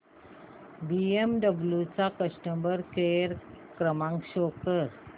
BMW चा customer care क्रमांक show कर